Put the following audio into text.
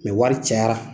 wari cayara